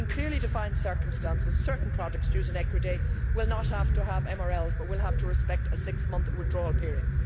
In clearly defined circumstances, certain products used for equidae will not have to have MRLs but will have to respect a six month withdrawal period.